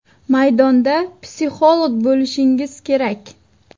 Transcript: Maydonda psixolog bo‘lishingiz kerak.